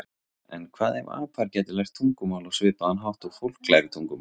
En hvað ef apar gætu lært tungumál á svipaðan hátt og fólk lærir tungumál?